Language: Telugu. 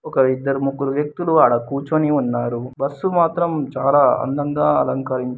ఒక ఇద్దరు ముగ్గురు వ్యక్తులు అడ కూర్చొని ఉన్నారు బస్సు మాత్రం చాలా అందంగా అలంకరించి --